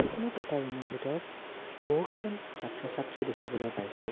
খনত এটা ৰুম ৰ ভিতৰত বহুকেইজন ছাত্ৰ-ছাত্ৰী দেখিবলৈ পাইছোঁ।